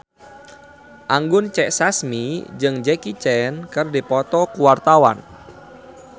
Anggun C. Sasmi jeung Jackie Chan keur dipoto ku wartawan